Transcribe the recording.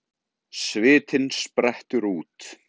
Svitinn sprettur út.